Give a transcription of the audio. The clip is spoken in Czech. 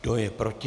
Kdo je proti?